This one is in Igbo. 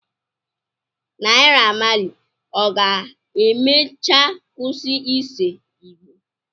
Naira Malị ọ ga-emecha kwụsị ise Igbo?